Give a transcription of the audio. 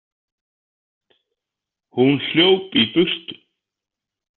Hún hljóp í burtu.